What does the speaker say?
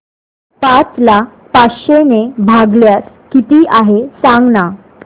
पाच ला पाचशे ने भागल्यास किती आहे सांगना